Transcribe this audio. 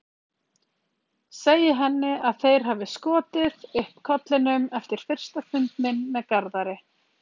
Segi henni að þeir hafi skotið upp kollinum eftir fyrsta fund minn með Garðari.